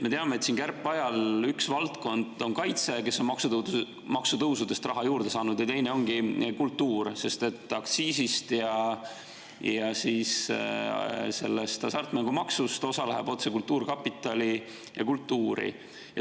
Me teame, et kärpeajal üks valdkond, kes on maksutõusudest raha juurde saanud, on kaitse, ja teine ongi kultuur, sest aktsiisist ja hasartmängumaksust osa läheb otse kultuurkapitali ja kultuuri.